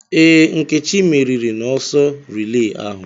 Ee, Nkechi meriri n'ọsọ rilee ahụ.